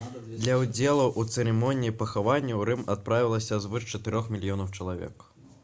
для ўдзелу ў цырымоніі пахавання ў рым адправілася звыш чатырох мільёнаў чалавек